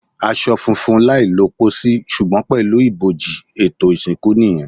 Aṣọ funfun, láì lọ pòsì, ṣùgbọ́n pẹ̀lú ibojì; ètò ìsìnkú nìyẹn.